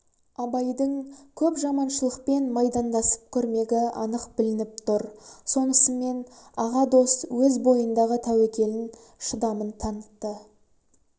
абайдың көп жаманшылықпен майдандасып көрмегі анық білініп тур сонысымен аға дос өз бойындағы тәуекелін шыдамын танытты